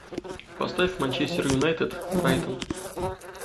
поставь манчестер юнайтед брайтон